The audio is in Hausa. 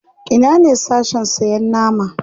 Ina ne Sashen sayan nama?